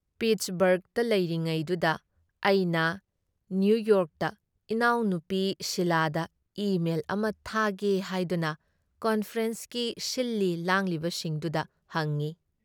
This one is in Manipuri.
ꯄꯤꯠꯁꯕꯔꯒꯇ ꯂꯩꯔꯤꯉꯩꯗꯨꯗ ꯑꯩꯅ ꯅꯤꯌꯨꯌꯣꯔꯛꯇ ꯏꯅꯥꯎꯅꯨꯄꯤ ꯁꯤꯂꯥꯗ ꯏ ꯃꯦꯜ ꯑꯃ ꯊꯥꯒꯦ ꯍꯥꯏꯗꯨꯅ ꯀꯟꯐꯔꯦꯟꯁꯀꯤ ꯁꯤꯜꯂꯤ ꯂꯥꯡꯂꯤꯕꯁꯤꯡꯗꯨꯗ ꯍꯪꯏ ꯫